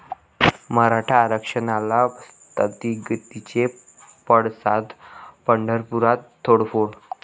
मराठा आरक्षणाला स्थगितीचे पडसाद, पंढरपुरात तोडफोड